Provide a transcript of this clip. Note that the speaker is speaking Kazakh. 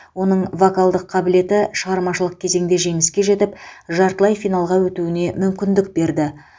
оның вокалдық қабілеті шығармашылық кезеңде жеңіске жетіп жартылай финалға өтуіне мүмкіндік берді